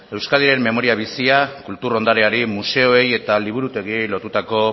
euskadiren memoria bizia kultur ondareari museoei eta liburutegiei lotutako